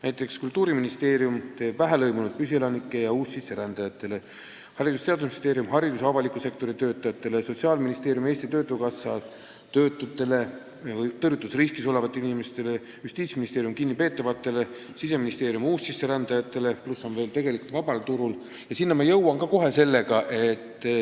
Näiteks Kultuuriministeerium teeb neid vähelõimunud püsielanikele ja uussisserändajatele, Haridus- ja Teadusministeerium haridus- ja avaliku sektori töötajatele, Sotsiaalministeerium ja Eesti Töötukassa töötutele ja tõrjutusriskis olevatele inimestele, Justiitsministeerium kinnipeetavatele ning Siseministeerium uussisserändajatele, millele lisandub veel vaba turg.